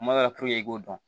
Kuma dɔ la i k'o dɔn